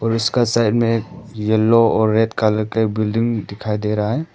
और उसका साइड में एक येलो और रेड कलर का बिल्डिंग दिखाई दे रहा है।